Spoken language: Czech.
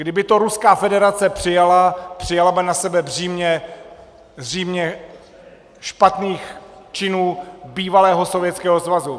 Kdyby to Ruská federace přijala, přijala by na sebe břímě špatných činů bývalého Sovětského svazu.